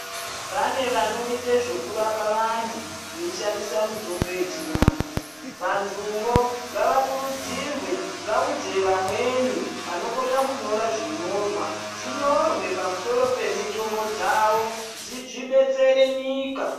Pane vanoite zvekurapa vantu veishandisa mitombo yechivantu. Vantuvo ngavakurudzirwe vaudze vamweni vanokona kunyora zvinyorwa zvinyorwe pamusoro pemitombo dzavo, zvibetsere nyika.